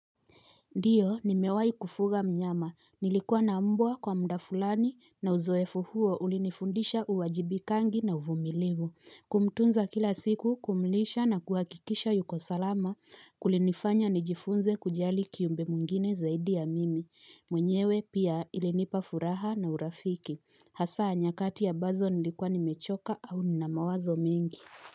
Ndiyo nimewai kufuga mnyama. Nilikuwa na mbwa kwa muda fulani na uzoefu huo ulinifundisha uwajibikangi na uvumilivu. Kumtunza kila siku kumlisha na kuhakikisha yuko salama. Kulinifanya nijifunze kujali kiumbe mwingine zaidi ya mimi. Mwenyewe pia ilinipa furaha na urafiki. Hasa nyakati ambazo nilikuwa nimechoka au nina mawazo mingi.